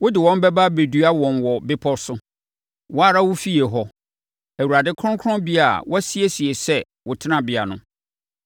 Wode wɔn bɛba abɛdua wɔn wɔ wo bepɔ so, wo ara wo efie hɔ, Awurade— Kronkronbea a woasiesie sɛ wo tenabea no.